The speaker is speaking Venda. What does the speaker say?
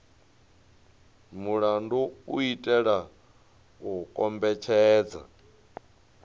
mulandu u itela u kombetshedza